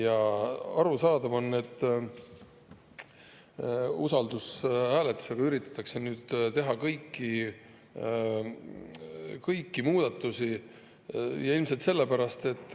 On arusaadav, et kõiki muudatusi üritatakse nüüd teha usaldushääletusega.